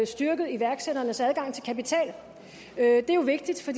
styrket iværksætternes adgang til kapital det er vigtigt for